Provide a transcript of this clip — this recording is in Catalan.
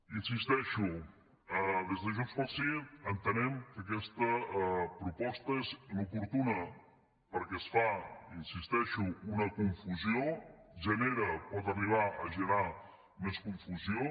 hi insisteixo des de junts pel sí entenem que aquesta proposta és inoportuna perquè es fa hi insisteixo una confusió genera pot arribar a generar més confusió